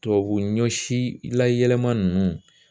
Tubabu ɲɔsi layɛlɛma ninnu